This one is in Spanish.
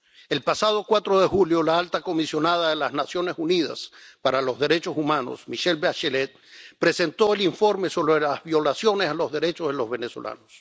El pasado 4 de julio la alta comisionada de las Naciones Unidas para los Derechos Humanos, Michelle Bachelet, presentó el informe sobre las violaciones a los derechos de los venezolanos.